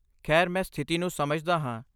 ਖੈਰ, ਮੈਂ ਸਥਿਤੀ ਨੂੰ ਸਮਝਦਾ ਹਾਂ।